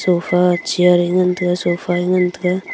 gapha chair e ngan tega sofa e ngan tega.